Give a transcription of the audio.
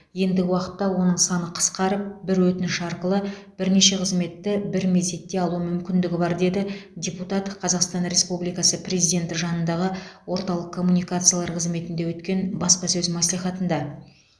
ендігі уақытта оның саны қысқарып бір өтініш арқылы бірнеше қызметті бір мезетте алу мүмкіндігі бар деді депутат қазақстан республикасы президенті жанындағы орталық коммуникациялар қызметінде өткен баспасөз мәслихатында